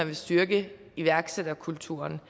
vil styrke iværksætterkulturen